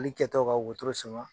kɛtɔ ka wotoro sama.